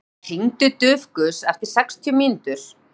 Saga, hringdu í Dufgus eftir sextíu mínútur.